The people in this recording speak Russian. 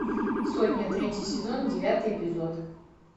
сотня третий сезон девятый эпизод